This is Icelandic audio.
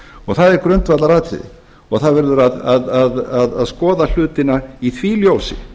og það er grundvallaratriði og það verður að skoða hlutina í því ljósi